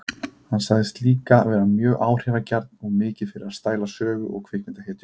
Hann sagðist líka vera mjög áhrifagjarn og mikið fyrir að stæla sögu- og kvikmyndahetjur.